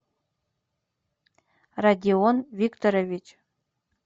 родион викторович